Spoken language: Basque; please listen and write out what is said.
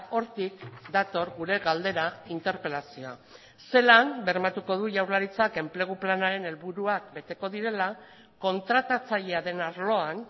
hortik dator gure galdera interpelazioa zelan bermatuko du jaurlaritzak enplegu planaren helburuak beteko direla kontratatzailea den arloan